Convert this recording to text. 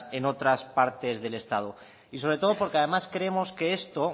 en otras partes del estado y sobre todo porque además creemos que esto